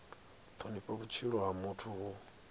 thonifha vhutshilo ha muthu hu